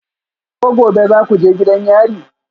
Ko gobe za ku je gidan yari?